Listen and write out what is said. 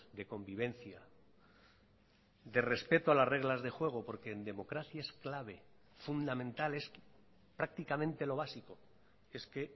de convivencia de respeto a las reglas de juego porque en democracia es clave fundamental es prácticamente lo básico es que